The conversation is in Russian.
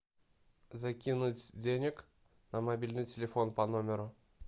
закинуть денег на мобильный телефон по номеру